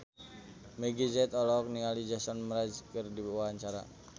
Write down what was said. Meggie Z olohok ningali Jason Mraz keur diwawancara